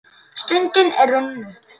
Stundin er runnin upp.